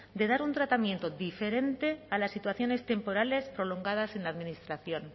de dar un tratamiento diferente a las situaciones temporales prolongadas en la administración